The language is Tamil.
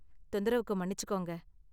தொந்தரவுக்கு மன்னிச்சிகோங்க.